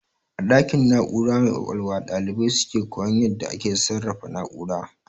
A ɗakin na'ura mai ƙwaƙwalwa ɗalibai suke koyan yadda ake sarrafa na'ura